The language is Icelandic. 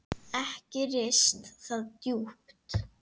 Ekki risti það djúpt.